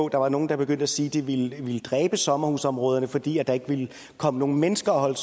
der var nogle der begyndte at sige at det ville dræbe sommerhusområderne fordi der ikke ville komme nogen mennesker og holde